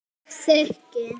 Ég þyki.